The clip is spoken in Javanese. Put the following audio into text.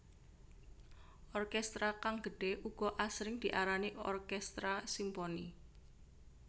Orkestra kang gedhe uga asring diarani orkestra simponi